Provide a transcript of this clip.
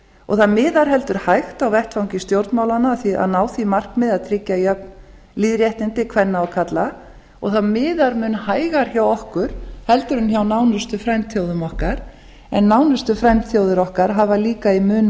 og það miðar heldur hægt á vettvangi stjórnmálanna að því að ná því markmiði að tryggja jöfn lýðréttindi kvenna og karla og það miðar mun hægar hjá okkur heldur en hjá nánustu frændþjóðum okkar en nánustu frændþjóðir okkar hafa líka í mun